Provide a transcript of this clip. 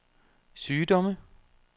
sygdomme